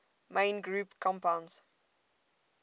main group compounds